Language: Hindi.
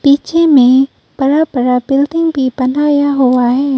पीछे में बड़ा बड़ा बिल्डिंग भी बनाया हुआ है।